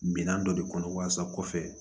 Minan dɔ de kɔnɔ walasa kɔfɛ